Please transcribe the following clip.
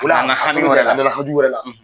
O la a nana hami wɛrɛ, hami wɛrɛ la.